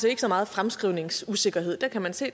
ikke så meget fremskrivningsusikkerhed der kan man se at